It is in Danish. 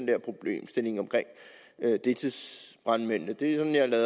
problemstillingen med deltidsbrandmændene det